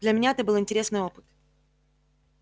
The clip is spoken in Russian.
для меня это был интересный опыт